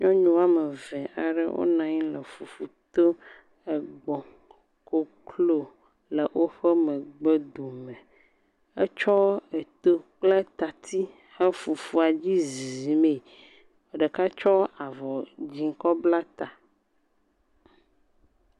Nyɔnu woame ve aɖe, wonɔ anyi le fufu to. Egbɔ̃, koklo, le woƒe megbedome. Etsɔ eto kple tati he fufua dzi ziiimee. Ɖeka tsɔ avɔ dzɛ̃ kebla ta